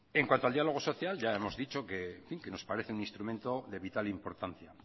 en cuanto al diálogo social ya hemos dicho que nos parece un instrumento de vital importancia